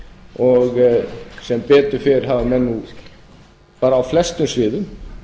og sem betur fer hafa menn nú bara á flestum sviðum